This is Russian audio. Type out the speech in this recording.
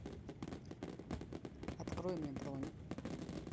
открой мне бронь